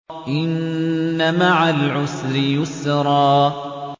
إِنَّ مَعَ الْعُسْرِ يُسْرًا